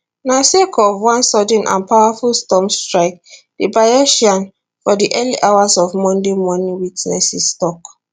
na sake of one sudden and powerful storm strike di bayesian for di early hours of monday morning witnesses tok